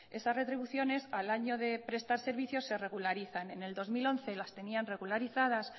esas retribuciones al año de prestar servicio se regularizan en el dos mil once las tenían regularizadas